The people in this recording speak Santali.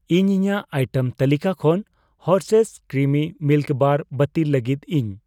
ᱤᱧ ᱤᱧᱟᱜ ᱟᱭᱴᱮᱢ ᱛᱟᱹᱞᱤᱠᱟ ᱠᱷᱚᱱ ᱦᱟᱨᱥᱷᱮᱭᱥ ᱠᱨᱤᱢᱤ ᱢᱤᱞᱠ ᱵᱟᱨ ᱵᱟᱹᱛᱤᱞ ᱞᱟᱹᱜᱤᱫ ᱤᱧ ᱾